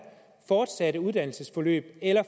fortsatte uddannelsesforløb eller